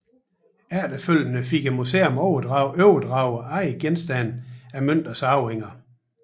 Efterfølgende fik museet overdraget andre genstande af Münters arvinger